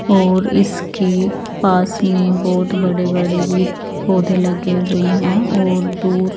और इसके पास में बहुत बड़े बड़े भी पौधे लगे हुए हैं और दूर --